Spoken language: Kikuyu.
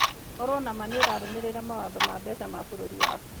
Korũo na ma nĩ ũrarũmĩrĩra mawatho ma mbeca ma bũrũri waku.